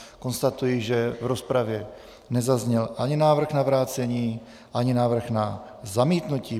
Konstatuji, že v rozpravě nezazněl ani návrh na vrácení ani návrh na zamítnutí.